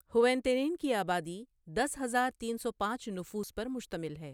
ہوئیتینن کی آبادی دس ہزار تین سو پانچ نفوس پر مشتمل ہے۔